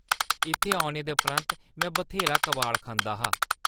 इत्थै औने दे परैंत्त में बथ्हेरा कबाड़ खंदा हा।